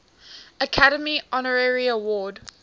academy honorary award